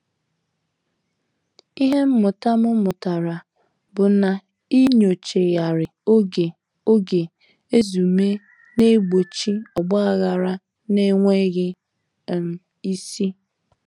Ihe mmụta m mụtara bụ na inyochaghari oge oge ezumee na-egbochi ogbaghara n'enweghị um isi.